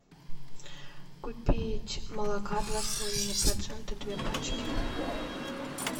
купить молока два с половиной процента две пачки